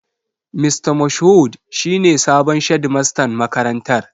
Mista Moshood shi ne sabon shedimastan makarantar.